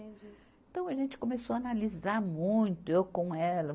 Então a gente começou a analisar muito, eu com ela.